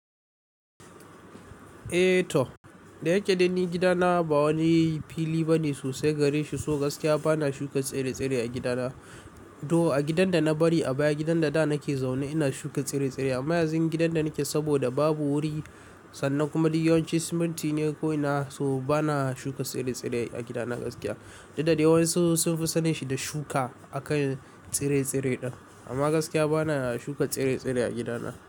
Eh toh, da yake da ni gidana ba wani fili bane sosai gare shi so gaskiya bana shuka tsire-tsire a gidana. To a gidan da na bari a baya, gidan da da nake zaune ina shuka tsire-tsire amma yanzu gidan da nake saboda babu wuri sannan kuma duk yawan shi siminti ne ko'ina so bana shuka tsire-tsire a gidana gaskiya. Da dadewa su sun fi sanin shi da shuka a kan tsire-tsire ɗin amma gaskiya bana shuka tsire-tsire a gidana.